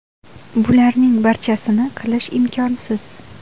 Bularning barchasini qilish imkonsiz.